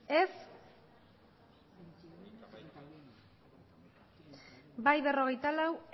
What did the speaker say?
bai berrogeita lau